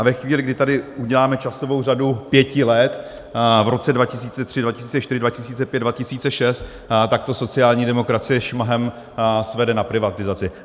A ve chvíli, kdy tady uděláme časovou řadu pěti let v roce 2003, 2004, 2005, 2006, tak to sociální demokracie šmahem svede na privatizaci.